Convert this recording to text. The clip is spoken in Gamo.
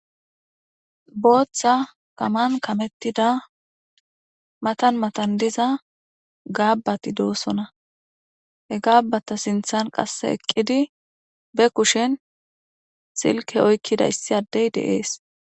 Booththa kaman kamettida matan matan diza gaabbati doosona. He gaabbata sinthan qasse eqqidi ba kushen silke oykkida issi addey deees.